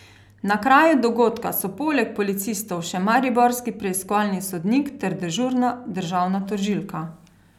Na kraju dogodka so poleg policistov še mariborski preiskovalni sodnik ter dežurna državna tožilka.